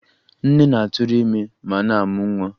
Nne na-atụrụ ime ma na-amụ nwa